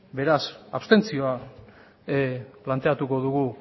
beraz abstentzioa plantatuko dugu